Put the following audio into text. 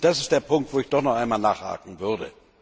Und das ist der Punkt, wo ich doch noch einmal nachhaken würde.